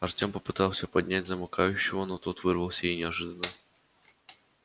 артем попытался поднять замыкающего но тот вырвался и неожиданно зло выкрикнул